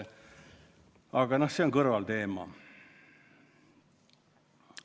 Aga see on kõrvalteema.